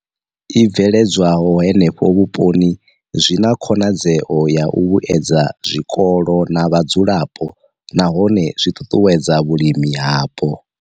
I bveledzwaho henefho vhuponi zwi na khonadzeo ya u vhuedza zwikolo na vhadzulapo nahone zwi ṱuṱuwedza vhulimi hapo.